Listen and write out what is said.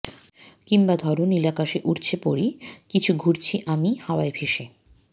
কিংবা ধরো নীলাকাশে উড়ছে পরী কিছু ঘুরছি আমি হাওয়ায় ভেসে